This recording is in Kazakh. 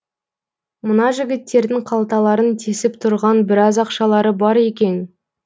мына жігіттердің қалталарын тесіп тұрған біраз ақшалары бар екен